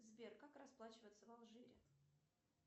сбер как расплачиваться в алжире